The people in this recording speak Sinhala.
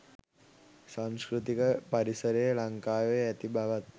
සංස්කෘතික පරිසරය ලංකාවේ ඇති බවත්